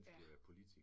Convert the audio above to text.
Ja!